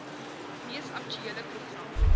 mees aktuele program